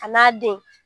A n'a den